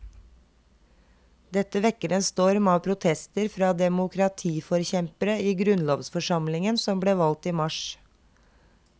Dette vekker en storm av protester fra demokratiforkjempere i grunnlovsforsamlingen, som ble valgt i mars.